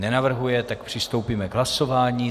Nenavrhuje, tak přistoupíme k hlasování.